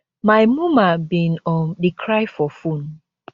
my muma bin um dey cry for phone